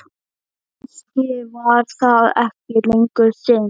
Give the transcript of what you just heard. Og kannski var það ekki lengur synd.